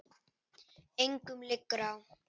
Engum liggur á.